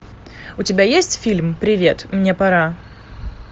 у тебя есть фильм привет мне пора